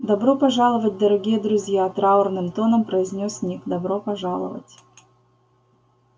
добро пожаловать дорогие друзья траурным тоном произнёс ник добро пожаловать